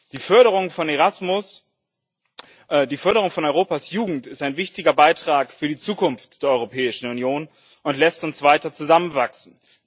Die Förderung von Europas Jugend ist ein wichtiger Beitrag für die Zukunft der Europäischen Union und lässt uns weiter zusammenwachsen.